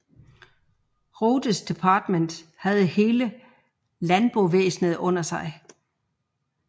Rothes departement havde hele landbovæsenet under sig